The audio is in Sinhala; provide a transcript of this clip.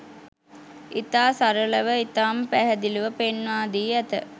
ඉතා සරළව ඉතාම පැහැදිළිව පෙන්වාදී ඇත.